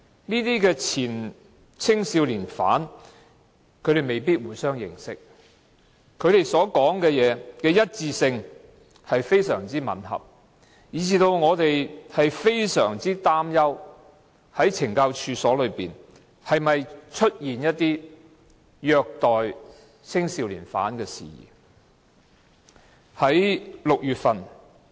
這些前青少年犯未必互相認識，但他們的說話非常吻合，以致我們非常擔憂懲教所內是否出現虐待青少年犯的事宜。